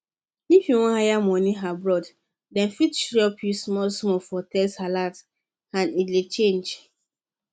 if you wire money abroad dem fit chop you smallsmall for text alert and e dey change